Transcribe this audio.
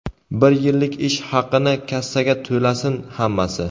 bir yillik ish haqini kassaga to‘lasin hammasi.